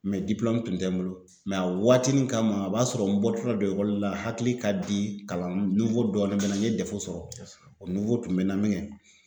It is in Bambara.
tun tɛ n bolo a waati nin kama a b'a sɔrɔ n bɔtɔla don la hakili ka di kalan dɔɔnin bɛ na n ye dɛfu sɔrɔ. Kosɛbɛ. O tun bɛ na min kɛ